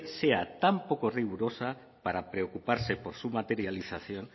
sea tan poco rigurosa para preocuparse por su materialización